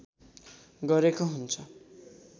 गरेको हुन्छ